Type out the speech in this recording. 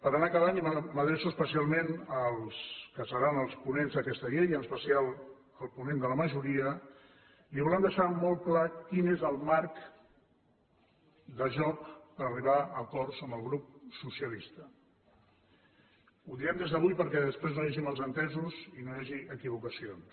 per anar acabant i m’adreço especialment als que seran els ponents d’aquesta llei en especial al ponent de la majoria li volem deixar molt clar quin és el marc de joc per arribar a acords amb el grup socialista ho direm des d’avui perquè després no hi hagi malentesos i no hi hagi equivocacions